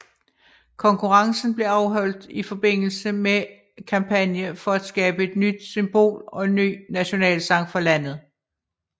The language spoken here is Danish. Konkurrencen blev afholdt i forbindelse med en kampagne for at skabe et nyt symbol og en ny nationalsang for landet